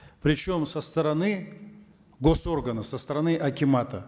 причем со стороны госоргана со стороны акимата